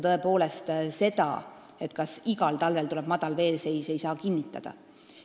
Tõepoolest, seda, kas igal talvel tuleb madal veeseis, ei saa kinnitada.